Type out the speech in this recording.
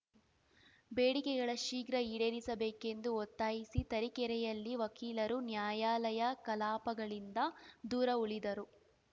ಬೇಡಿಕೆಗಳ ಶೀಘ್ರ ಈಡೇರಿಸಬೇಕೆಂದು ಒತ್ತಾಯಿಸಿ ತರೀಕೆರೆಯಲ್ಲಿ ವಕೀಲರು ನ್ಯಾಯಾಲಯ ಕಲಾಪಗಳಿಂದ ದೂರ ಉಳಿದರು